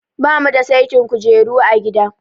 Ba mu da saitin kujeru a gida.